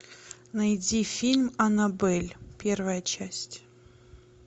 найди фильм аннабель первая часть